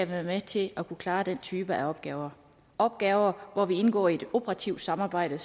være med til at klare den type af opgaver opgaver hvor vi indgår i et operativt samarbejde